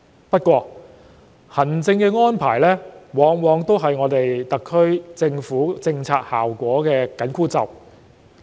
不過，行政安排往往是特區政府政策效果的緊箍咒。